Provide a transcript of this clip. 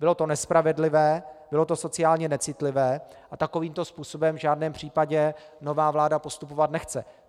Bylo to nespravedlivé, bylo to sociálně necitlivé a takovýmto způsobem v žádném případě nová vláda postupovat nechce.